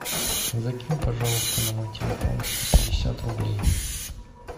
закинь пожалуйста на мой телефон сто пятьдесят рублей